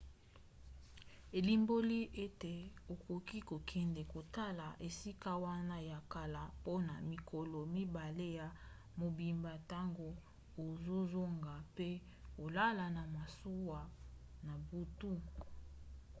elimboli ete okoki kokende kotala esika wana ya kala mpona mikolo mibale ya mobimba ntango ozozonga mpe kolala na masuwa na butu